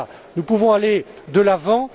Nous pouvons aller de l'avant.